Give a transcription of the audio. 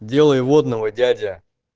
делай водного дядя